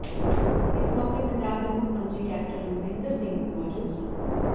ਇਸ ਮੌਕੇ ਪੰਜਾਬ ਦੇ ਮੁੱਖ ਮੰਤਰੀ ਕੈਪਟਨ ਅਮਰਿੰਦਰ ਸਿੰਘ ਵੀ ਮੌਜੂਦ ਸਨ